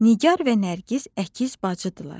Nigar və Nərgiz əkiz bacıdırlar.